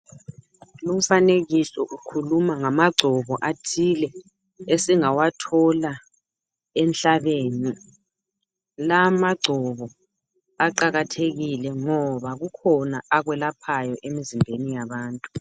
Lumfanekiso ukhuluma ngamagcobo athile esingawathola enhlabeni. Lamagcobo aqakathekile ngoba kukhona akwelaphayo emzimbeni yabantu.